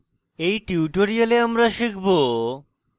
in tutorial আমরা শিখব: